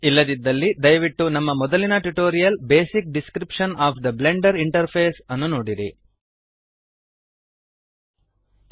ಇಲ್ಲದಿದ್ದಲ್ಲಿ ದಯವಿಟ್ಟು ನಮ್ಮ ಮೊದಲಿನ tutorial basic description of the Blender interface basic description of the Blender interface ಅನ್ನು ನೋಡಿರಿ